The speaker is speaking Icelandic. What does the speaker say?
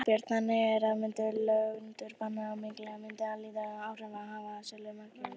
Þorbjörn: Þannig að löndunarbann á makríl myndi lítil sem enginn áhrif hafa á sölu makríls?